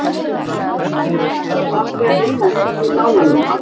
Ætlaði fagnaðarlátum aldrei að linna eftir þau málalok.